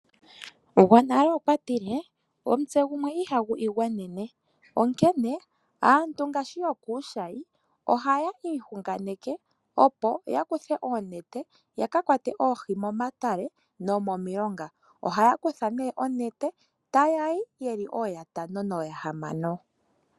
Gwonale okwatile omutse gumwe ihagu igwanene onkene, aantu ngaashi yokuushayi ohaya iyunganeke opo yakuthe oonete yakakwate oohi momatale nomomilonga. Ohaya kutha nee onete etayayi yeli ooyatano nooyahamano.